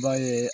B'a ye